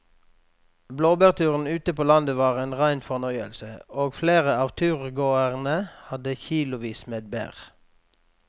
Blåbærturen ute på landet var en rein fornøyelse og flere av turgåerene hadde kilosvis med bær.